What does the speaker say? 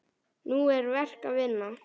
Nú er verk að vinna.